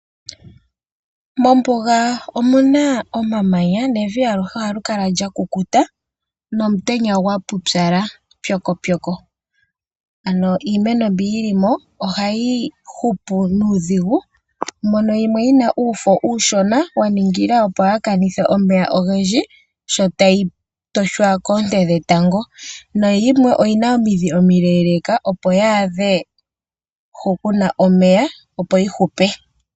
Mombuga omuna omamanya nevi aluhe ohali kala lya kukuta nomutenya gwa pupyala pyokopyoko. Ano iimeno mbi yili mo ohayi hupu nuudhigu mono yimwe yina uufo uushona ya ningila sho tayi toshwa koonte dhetango. Nayimwe oyina omidhi omileeleeka opo yaadhe hu kuna omeya opo yi hupe.